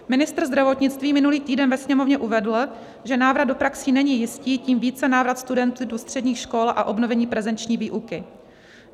Ministr zdravotnictví minulý týden ve Sněmovně uvedl, že návrat do praxí není jistý, tím více návrat studentů do středních škol a obnovení prezenční výuky.